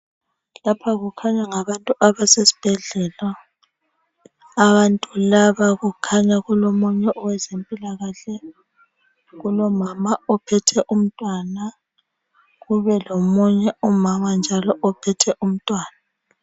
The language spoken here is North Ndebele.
Lapha kukhanya ngabantu abasesibhedlela ,abantu laba kukhanya kulomunye owezempilakahle .Kulomama ophethe umntwana kubelomunye umama njalo ophethe umntwana.